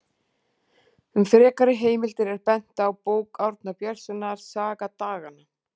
Um frekari heimildir er bent á bók Árna Björnssonar, Saga daganna.